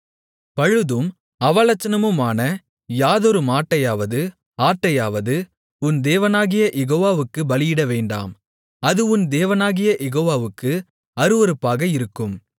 பழுதும் அவலட்சணமுமான யாதொரு மாட்டையாவது ஆட்டையாவது உன் தேவனாகிய யெகோவாவுக்குப் பலியிடவேண்டாம் அது உன் தேவனாகிய யெகோவாவுக்கு அருவருப்பாக இருக்கும்